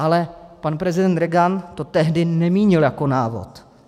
Ale pan prezident Reagan to tehdy nemínil jako návod.